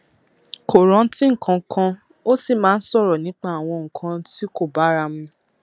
kò rántí nǹkan kan ó sì máa ń sọrọ nípa àwọn nǹkan tí kò bára mu